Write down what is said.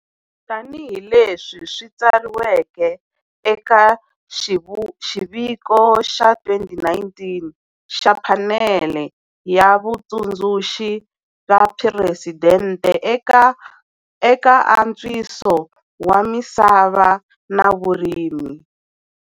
Tanihi leswi swi tsariweke eka xiviko xa 2019 xa Phanele ya Vatsundzuxi va Phuresidente eka Antswiso wa Misava na Vurimi.